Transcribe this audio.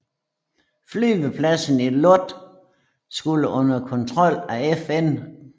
Flyvepladsen i Lod skulle under kontrol af FN